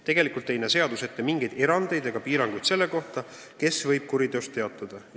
Tegelikult ei näe seadus ette mingeid erandeid ega piiranguid selle kohta, kes võib kuriteost teatada.